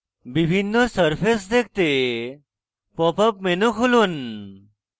বিভিন্ন সারফেস দেখতে pop up menu খুলুন